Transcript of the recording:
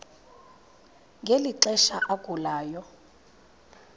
ngeli xesha agulayo